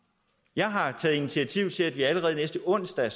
jeg har taget initiativ til at vi allerede næste onsdag